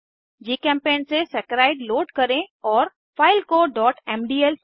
जीचेम्पेंट से saccharide load करें और फाइल को mdl फॉर्मेट में सेव करें